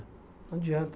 Não adianta.